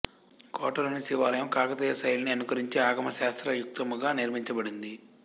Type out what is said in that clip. కోటలోని శివాలయం కాకతీయ శైలిని అనుకరించి ఆగమశాస్త్ర యుక్తముగా నిర్మించబడింది